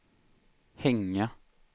hänga